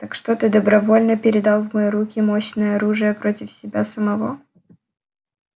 так что ты добровольно передал в мои руки мощное оружие против себя самого